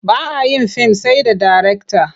Ba a yin fim sai da darekta.